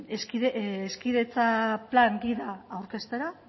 hezkidetza plan gida aurkeztera